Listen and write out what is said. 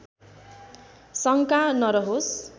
शङ्का नरहोस्